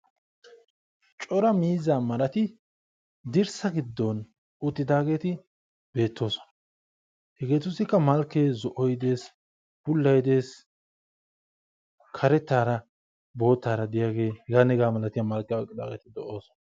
Cora miizza marati dirssa giddon uttidaageti beettoosona. hegetussikka malkkey zo'oy dees., bootttay dees, bullay dees, karettara boottara heganne hega malalatiyaa malkkiyaa oyqqidaageeti de'oosona.